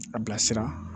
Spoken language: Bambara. A bilasira